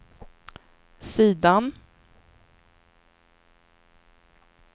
sidan